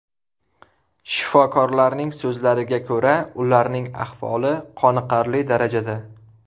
Shifokorlarning so‘zlariga ko‘ra, ularning ahvoli qoniqarli darajada.